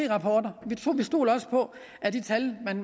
rapporter og vi stoler også på at de tal